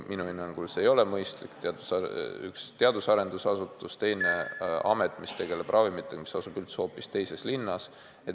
Minu hinnangul see ei ole mõistlik: üks on teadusarenduse asutus, teine on amet, mis tegeleb ravimitega ja asub hoopis teises linnas.